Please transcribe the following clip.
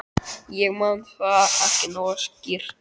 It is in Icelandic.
Ég man það ekki nógu skýrt.